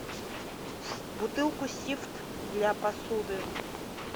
бутылку сифт для посуды